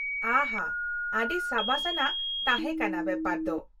ᱟᱦᱟ ! ᱟ.ᱰᱤ ᱥᱟᱹᱵᱟᱹᱥ ᱟᱱᱟᱜ ᱛᱟᱦᱮᱸ ᱠᱟᱱᱟ ᱵᱮᱯᱟᱨ ᱫᱚ ᱾